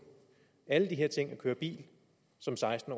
og køre bil som seksten